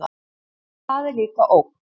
En það er líka ógn.